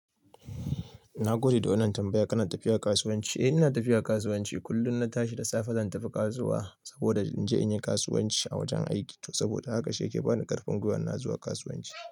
Na gode da wannan tambaya. Kana tafiya kasuwanci? Eh ina tafiya kasuwanci. Kullum na tashi da safe zan tafi kasuwa saboda in je in yi kasuwanci a wajen aiki. To saboda haka shi yake bani karfin gwiwan na zuwa kasuwanci.